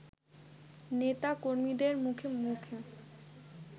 নেতা-কর্মীদের মুখে মুখে